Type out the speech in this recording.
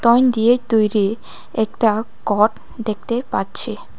দিয়ে তৈরি একতা দেখতে পাচ্ছি।